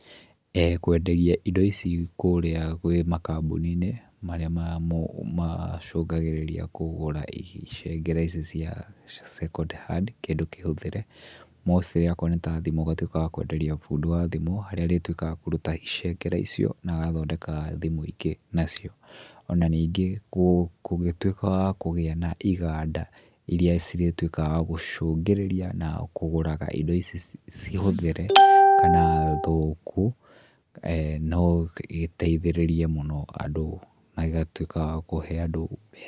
Kwenderia indo ici kũrĩa kwĩ makambũni-inĩ marĩa ma mo macũngagĩrĩria kũgũra icicengere ici cia second hand kĩndũ kĩhũthĩre. Mostly akorwo nĩ ta thimũ ũgatuĩka wa kwenderia fundi wa thimũ harĩa arĩtuĩkaga wa kũruta icengera icio na agathondeka thimũ ingĩ nacio. Ona ningĩ kũngĩtuĩka wa kũgĩa na iganda irĩa cirĩtuĩkaga wa gũcũngĩrĩria na kũgũraga indo ici ciĩ hũthĩre kana thũku, no gĩteithĩrĩrie mũno andũ na gĩgatuĩka wa kũhe andũ mbeca.